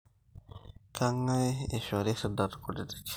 kengae eishorri irridat kutitik